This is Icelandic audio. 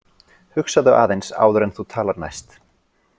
Hugsaðu aðeins áður en þú talar næst